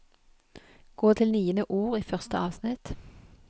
Gå til niende ord i første avsnitt